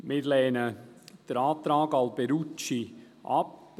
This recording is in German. Wir lehnen den Antrag Alberucci ab.